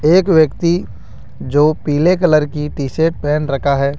एक व्यक्ति जो पीले कलर की टी शर्ट पहेन रखा है।